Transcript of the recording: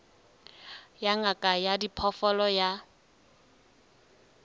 ya ngaka ya diphoofolo ya